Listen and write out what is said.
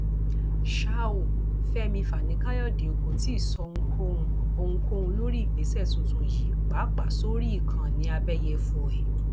ṣá ò fẹmí fani káyọdé kò tí ì sọ ohunkóhun ohunkóhun lórí ìgbésẹ tuntun yìí pàápàá sórí ìkànnì àbẹyẹfọ ẹ